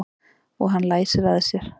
Og hann læsir að sér.